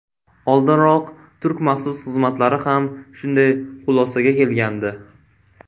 Oldinroq turk maxsus xizmatlari ham shunday xulosaga kelgandi.